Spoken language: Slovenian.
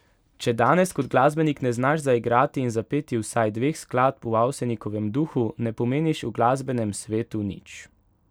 Če danes kot glasbenik ne znaš zaigrati in zapeti vsaj dveh skladb v Avsenikovem duhu, ne pomeniš v glasbenem svetu nič.